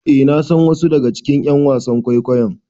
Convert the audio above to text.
Eh nasan wasu daga cikin ƴan wasan kwaikwayon